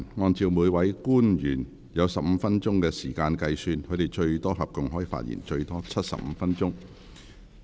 按照每位官員有15分鐘發言時間計算，他們合共可發言最多75分鐘。